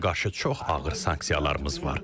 İrana qarşı çox ağır sanksiyalarımız var.